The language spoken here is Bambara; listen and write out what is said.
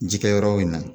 Jikɛyɔrɔ in na